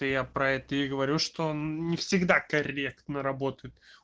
то я про это и говорю что он не всегда корректно работает